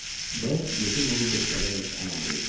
B. Yefimovu göstərərək əlavə eləyir.